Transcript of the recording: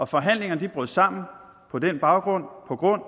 forhandlingerne brød sammen på den baggrund